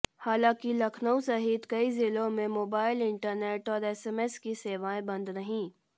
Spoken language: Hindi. हालांकि लखनऊ सहित कई जिलों में मोबाइल इंटरनेट और एसएमएस की सेवाएं बंद रहीं